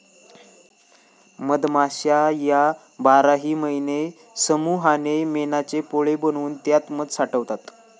मधमाश्या या बाराही महिने समुहाने मेणाचे पोळे बनवून त्यात मध साठवतात.